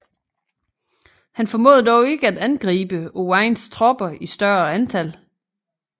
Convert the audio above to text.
Han formåede dog ikke at angribe Owains tropper i større antal